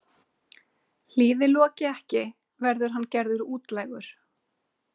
Hlýði Loki ekki verður hann gerður útlægur.